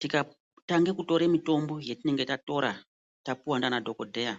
Tikatange kutore mitombo yatinenge tatora tapiva ndiana dhokodheya,